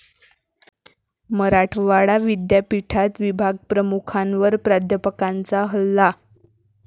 मराठवाडा विद्यापीठात विभागप्रमुखांवर प्राध्यापकाचा हल्ला